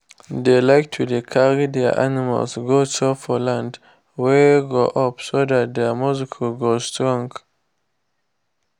dey like to dey carry their animals go chop for land wey go up so dat their muscle go strong